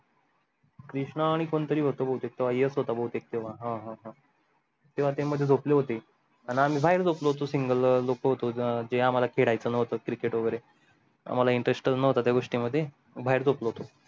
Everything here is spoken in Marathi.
कृष्णा आणि कोण तरी होत भवतेक तो येस होता भावतेक तेव्हा हा हा हा तेव्हा ते मध्ये झोपले होते आणि आम्ही बाहेर झोपलो होतो single लोक होतो ते आम्हाला खेडायच न्हवत cricket वगैरे आम्हाला interest च न्हवता त्या गोष्टी मध्ये बाहेर झोपलो होतो